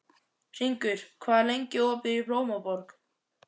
Hringur, hvað er lengi opið í Blómaborg?